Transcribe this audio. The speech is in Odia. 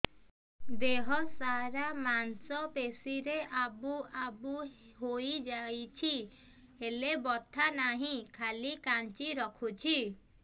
ଦେହ ସାରା ମାଂସ ପେଷି ରେ ଆବୁ ଆବୁ ହୋଇଯାଇଛି ହେଲେ ବଥା ନାହିଁ ଖାଲି କାଞ୍ଚି ରଖୁଛି